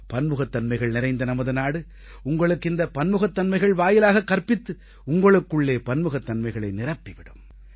பன்முகத்தன்மைகள் நிறைந்த நமது நாடு உங்களுக்கு இந்தப் பன்முகத்தன்மைகள் வாயிலாக கற்பித்து உங்களுக்குள்ளே பன்முகத்தன்மைகளை நிரப்பி விடும்